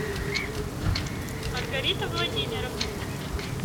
маргарита владимировна